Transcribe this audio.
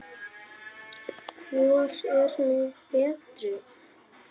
Hvor er nú betri?